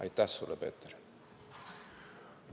Aitäh sulle, Peeter!